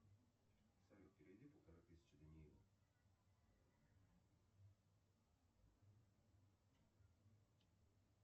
салют переведи полторы тысячи даниилу